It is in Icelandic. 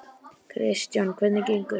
Kristjana: Hvernig gengur?